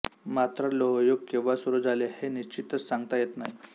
मात्र लोहयुग केंव्हा सुरू झाले हे निश्चितच सांगता येत नाही